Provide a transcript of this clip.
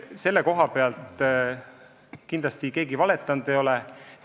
Selle koha pealt kindlasti keegi valetanud ei ole.